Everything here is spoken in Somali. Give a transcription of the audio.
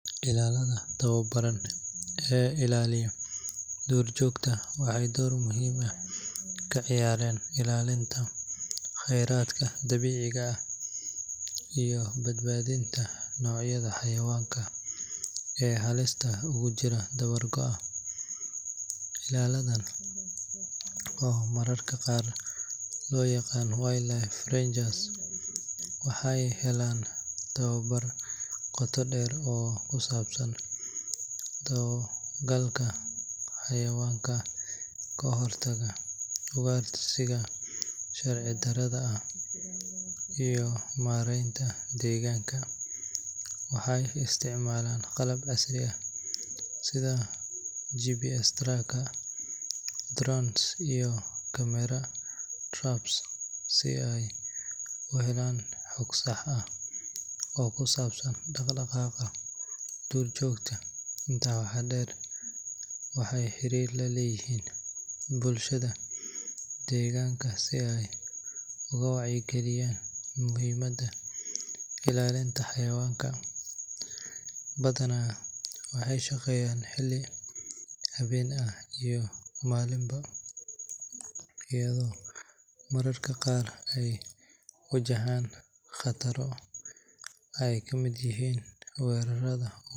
Ilaalada tababaran ee ilaaliya duurjoogta waxay door muhiim ah ka ciyaaraan ilaalinta khayraadka dabiiciga ah iyo badbaadinta noocyada xayawaanka ee halista ugu jira dabar-go’a. Ilaaladan, oo mararka qaar loo yaqaan wildlife rangers, waxay helaan tababar qoto dheer oo ku saabsan dabagalka xayawaanka, ka hortagga ugaarsiga sharci darrada ah, iyo maaraynta deegaanka. Waxay isticmaalaan qalab casri ah sida GPS trackers, drones, iyo camera traps si ay u helaan xog sax ah oo ku saabsan dhaqdhaqaaqa duurjoogta. Intaa waxaa dheer, waxay xiriir la leeyihiin bulshada deegaanka si ay ugu wacyigeliyaan muhiimadda ilaalinta xayawaanka. Badanaa waxay shaqeeyaan xilli habeen ah iyo maalinba, iyadoo mararka qaar ay wajahaan khataro ay ka mid yihiin weerarrada.